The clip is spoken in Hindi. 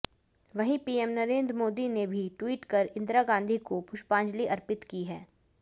वहीं पीएम नरेंद्र मोदी ने भी ट्वीट कर इंदिरा गांधी को पुष्पांजलि अर्पित की है